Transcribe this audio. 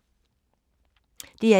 DR1